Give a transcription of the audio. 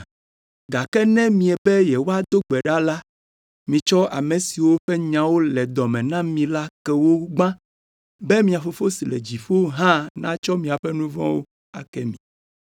Gake ne miebe yewoado gbe ɖa la, mitsɔ ame siwo ƒe nyawo le dɔ me na mi la ke wo gbã be mia Fofo si le dziƒo hã natsɔ miaƒe nu vɔ̃wo ake mi.